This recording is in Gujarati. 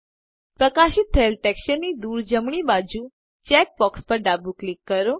પ્રકાશિત થયેલ ટેક્સચરની દુર જમણી બાજુ ચેક boxપર ડાબું ક્લિક કરો